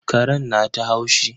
Karen na ta haushi.